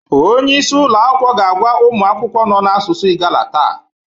Onye isi ụlọ akwụkwọ ga-agwa ụmụ akwụkwọ nọ na asusu Igala taa